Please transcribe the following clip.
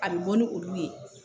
A bɛ bɔ ni olu ye